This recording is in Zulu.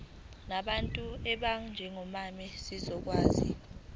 ngabantu abanjengomama zizokwazi